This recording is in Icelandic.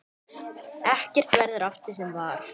Ekkert verður aftur sem var.